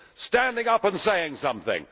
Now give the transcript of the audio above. standing up and saying something.